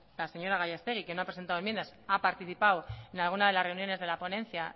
la señora gallastegui que no ha presentado enmiendas ha participado en alguna de las reuniones de la ponencia